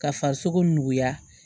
Ka farisogo nuguya